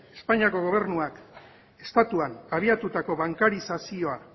espainiako gobernuak estatuan abiatutako bankarizazioa